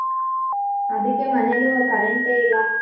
ಅದಿಕ್ಕೆ ಮನೆಲೂ current ಎ ಇಲ್ಲ.